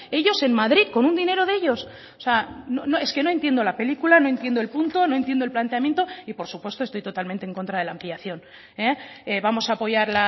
ellos en madrid con un dinero de ellos o sea es que no entiendo la película no entiendo el punto no entiendo el planteamiento y por supuesto estoy totalmente en contra de la ampliación vamos a apoyar